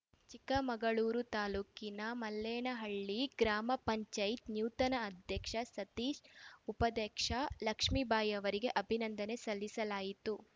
ಚಿಕ್ಕಮಗಳೂರು ತಾಲೂಕಿನ ಮಲ್ಲೇನಹಳ್ಳಿ ಗ್ರಾಮ ಪಂಚಾಯತ್ ನೂತನ ಅಧ್ಯಕ್ಷ ಸತೀಶ್‌ ಉಪಾಧ್ಯಕ್ಷೆ ಲಕ್ಷ್ಮೇಬಾಯಿ ಅವರಿಗೆ ಅಭಿನಂದನೆ ಸಲ್ಲಿಸಲಾಯಿತು